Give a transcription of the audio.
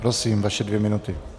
Prosím, vaše dvě minuty.